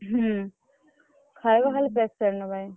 ହୁଁ ଖାଇବା ଖାଲି patient ଙ୍କ ପାଇଁ।